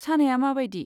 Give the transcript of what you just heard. सानाया माबायदि?